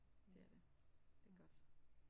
Det er det. Det er godt